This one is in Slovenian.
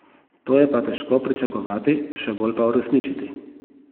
To je pa težko pričakovati, še bolj pa uresničiti.